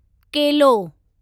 केलो